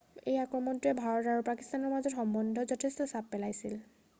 এই আক্ৰমণটোৱে ভাৰত আৰু পাকিস্তানৰ মাজৰ সম্বন্ধত যথেষ্ট চাপ পেলাইছে